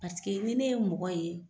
Paseke ni ne ye mɔgɔ ye